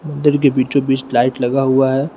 मंदिर के बीचो बीच लाइट लगा हुआ है।